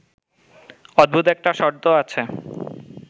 অদ্ভুত একটা শর্ত আছে